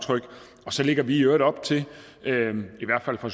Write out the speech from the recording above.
så lægger vi i øvrigt op til i hvert fald fra